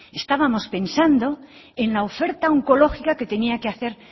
estábamos pensando en la oferta oncológica que tenía que hacer